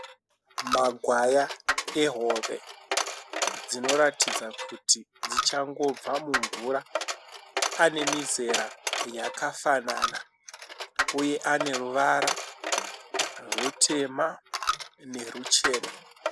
Magwaya ehove dzinoratidza kuti dzichangobva mumvura. Ane mizera yakafanana uye ane ruvara rutema neruchena.